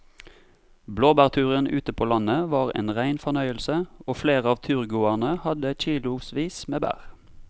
Blåbærturen ute på landet var en rein fornøyelse og flere av turgåerene hadde kilosvis med bær.